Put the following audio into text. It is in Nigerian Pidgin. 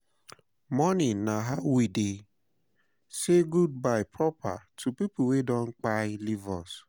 Mourning na how we dey say goodbye proper to pipo wey don kpai leave us